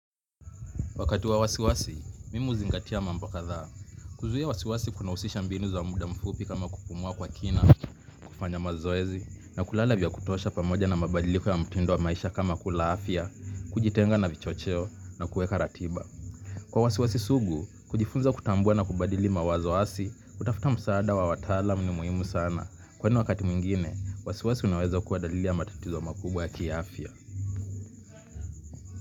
Wakati wa wasiwasi, mimi huzingatia mambo kadhaa. Kuzuia wasiwasi kunahusisha mbinu za muda mfupi kama kupumua kwa kina, kufanya mazoezi, na kulala vya kutosha pamoja na mabadiliko ya mtindo wa maisha kama kula afya, kujitenga na vichocheo, na kueka ratiba. Kwa wasiwasi sugu kujifunza kutambua mawazo hasi kutafuta msaada wa wataalam ni muhimu sana. Kwani wakati mwingine, wasiwasi unaweza kuwa dalili ya matatizo makubwa ya kiafya.